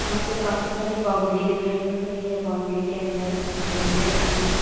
यहाँ पे काफी सारी बाउंड्री दिखाई पड़ रही है बाउंड्री के अंदर गमले रखे हुए हैं कु--